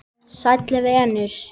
Sæll venur!